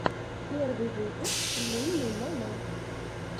первый выпуск лунный монах